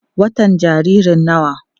watan jaririn nawa?